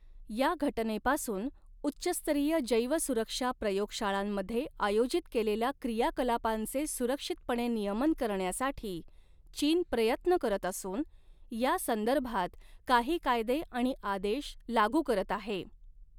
या घटनेपासून, उच्च स्तरीय जैवसुरक्षा प्रयोगशाळांमध्ये आयोजित केलेल्या क्रियाकलापांचे सुरक्षितपणे नियमन करण्यासाठी चीन प्रयत्न करत असून या संदर्भात काही कायदे आणि आदेश लागू करत आहे.